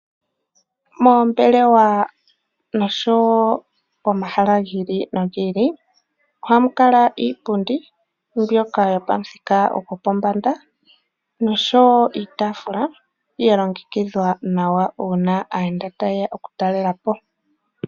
Moombelewa noshowo omahala gi ili nogi ili ohamu kala iipundi mbyoka yopamuthika gopombanda noshowo iitaafula ya longekidhwa nawa uuna aayenda taye ya okutalela po.